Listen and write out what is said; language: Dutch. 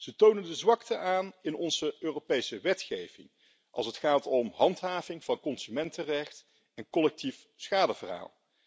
Ze tonen de zwakte aan in onze Europese wetgeving als het gaat om handhaving van consumentenrecht en collectief schadeverhaal.